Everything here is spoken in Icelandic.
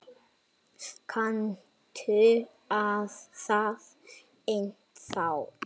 Kanntu það ennþá?